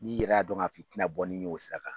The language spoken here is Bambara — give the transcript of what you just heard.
N'i yɛrɛ y' dɔn ka f'i tɛ na bɔ ni ye' o sira kan.